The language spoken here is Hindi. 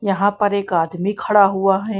यहां पर एक आदमी खड़ा हुआ है।